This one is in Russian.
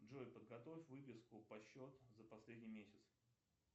джой подготовь выписку по счету за последний месяц